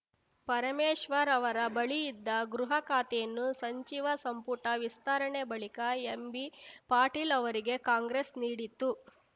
ಪರಮೇಶ್ವರ್‌ ಅವರ ಬಳಿ ಇದ್ದ ಗೃಹ ಖಾತೆಯನ್ನು ಸಂಚಿವ ಸಂಪುಟ ವಿಸ್ತರಣೆ ಬಳಿಕ ಎಂಬಿಪಾಟೀಲ್‌ ಅವರಿಗೆ ಕಾಂಗ್ರೆಸ್‌ ನೀಡಿತ್ತು